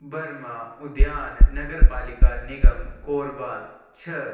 Burma उद्यान नगर पालिका निगम कोरबा छ. --